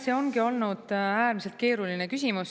See ongi olnud äärmiselt keeruline küsimus.